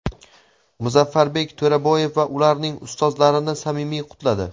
Muzaffarbek To‘raboyev va ularning ustozlarini samimiy qutladi.